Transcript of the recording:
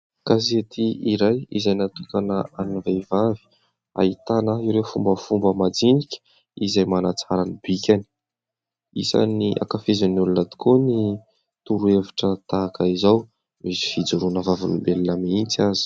Gazety iray izay natokana an'ny vehivavy ahitana ireo fombafomba majinika izay manatsara ny bikany, isany ankafizin'ny olona tokoa ny torohevitra tahaka izao, misy fijoroana vavolombelona mihitsy aza.